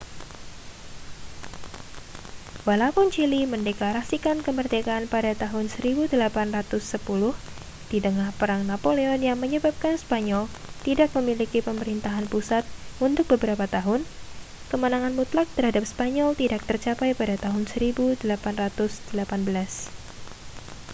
walaupun chili mendeklarasikan kemerdekaan pada tahun 1810 di tengah perang napoleon yang menyebabkan spanyol tidak memiliki pemerintahan pusat untuk beberapa tahun kemenangan mutlak terhadap spanyol tidak tercapai sampai tahun 1818